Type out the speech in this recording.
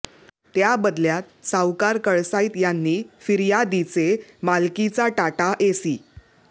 त्या बदल्यात सावकार कळसाईत यांनी फिर्यादीचे मालकीचा टाटा एसी